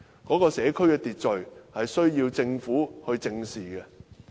該社區的秩序問題是需要政府正視的。